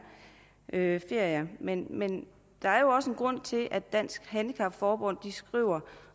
ferie men men der er jo også en grund til at dansk handicap forbund skriver